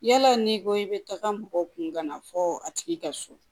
Yala n'i ko i bɛ taga mɔgɔw kun gana fɔ a tigi ka so